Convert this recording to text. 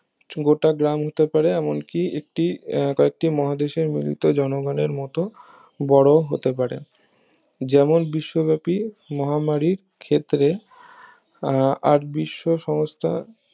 গোটা গ্রাম হতে পারে এমনকি একটি এর কয়েকটি মহাদেশের মূলত জনগণের মতো বড়ো হতে পারে যেমন বিশ্ব ব্যাপী মহামারীর ক্ষেত্রে আহ বিশ্ব সমস্থা